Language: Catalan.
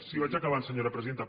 sí vaig acabant senyora presidenta